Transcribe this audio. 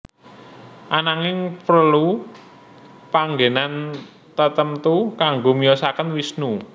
Ananging prelu panggenan tatemtu kangge miyosaken Wisnu